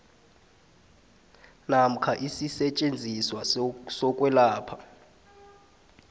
namkha isisetjenziswa sokwelapha